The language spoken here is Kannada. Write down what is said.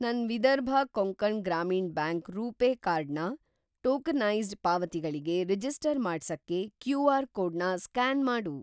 ನನ್‌ ವಿದರ್ಭ ಕೊಂಕಣ್‌ ಗ್ರಾಮೀಣ್‌ ಬ್ಯಾಂಕ್ ರೂಪೇ ಕಾರ್ಡ್ ನ ಟೋಕನೈಸ್ಡ್‌ ಪಾವತಿಗಳಿಗೆ ರಿಜಿಸ್ಟರ್ ಮಾಡ್ಸಕ್ಕೆ ಕ್ಯೂ.ಆರ್.‌ ಕೋಡ್‌ನ ಸ್ಕ್ಯಾನ್‌ ಮಾಡು.